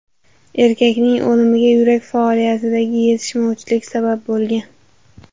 Erkakning o‘limiga yurak faoliyatidagi yetishmovchilik sabab bo‘lgan.